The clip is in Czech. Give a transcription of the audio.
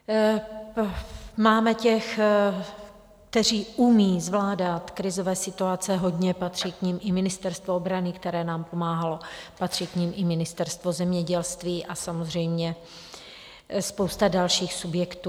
Máme těch, kteří umí zvládat krizové situace, hodně, patří k nim i Ministerstvo obrany, které nám pomáhalo, patří k nim i Ministerstvo zemědělství a samozřejmě spousta dalších subjektů.